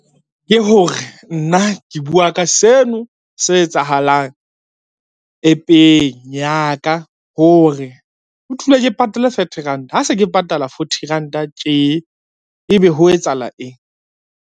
Ke hore nna ke bua ka seno se etsahalang App-eng ya ka hore, ho thule ke patale thirty rand ha se ke patala forty ranta tje, ebe ho etsahala eng.